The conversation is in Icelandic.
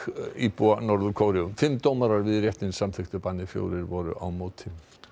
íbúa Norður Kóreu fimm dómarar við réttinn samþykktu bannið fjórir voru á móti